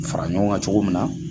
fara ɲɔgɔn kan cogo min na.